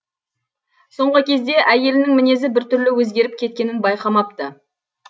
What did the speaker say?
соңғы кезде әйелінің мінезі бір түрлі өзгеріп кеткенін байқамапты